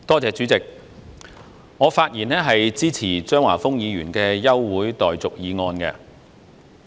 主席，我發言支持張華峰議員的休會待續議案。